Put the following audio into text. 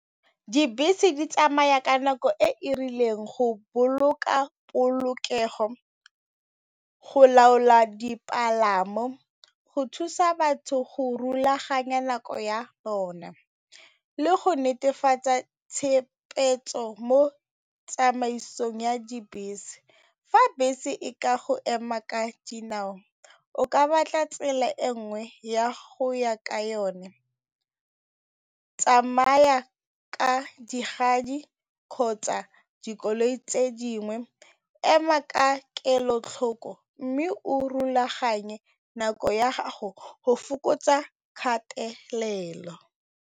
Dibese di tsamaya ka nako e e rileng go boloka polokego, go laola dipalamo, go thusa batho go rulaganya nako ya bona le go netefatsa tshegetso mo tsamaisong ya dibese. Fa bese e ka go ema ka dinao o ka batla tsela e nngwe ya go ya ka yone, tsamaya ka kgotsa dikoloi tse dingwe, ema ka kelotlhoko mme o rulaganye nako ya gago go fokotsa kgatelelo.